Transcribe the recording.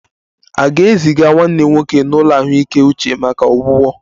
A ga-eziga nwanna nwoke n'ụlọ ahụike uche maka ọgwụgwọ?